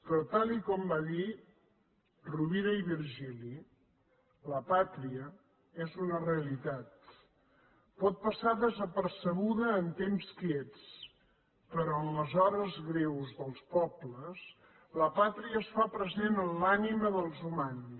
però tal com va dir rovira i virgili la pàtria és una realitat pot passar desapercebuda en temps quiets però en les hores greus dels pobles la pàtria es fa present en l’ànima dels humans